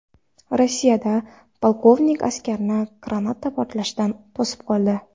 Rossiyada polkovnik askarni granata portlashidan to‘sib qoldi.